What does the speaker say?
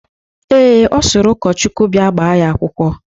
Ee, Ọ sịrị ụkọchukwu bịa gbaa ya akwụkwọ.